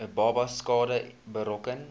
babas skade berokken